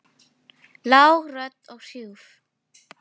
Það leið löng stund.